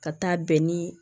Ka taa bɛn nii